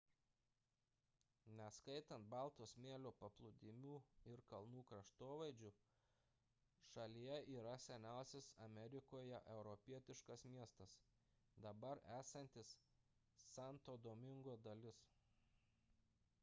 neskaitant balto smėlio paplūdimių ir kalnų kraštovaizdžių šalyje yra seniausias amerikoje europietiškas miestas dabar esantis santo domingo dalis